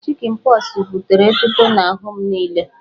Chịkịn pọxụ butere etuto n'ahụ m niile